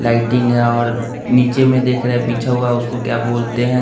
lighting है और नीचे में देख रहे है बिछा हुआ उसको क्या बोलते हैं --